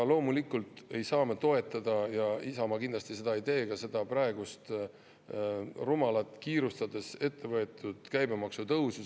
Loomulikult ei saa me toetada – Isamaa kindlasti seda ei tee – praegust rumalat kiirustades ette võetud käibemaksu tõusu.